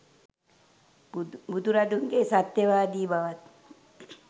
බුදුරදුන්ගේ සත්‍යවාදී බවත්,